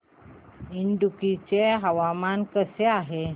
इडुक्की चे हवामान कसे आहे